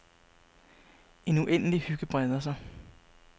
En uendelig hygge breder sig.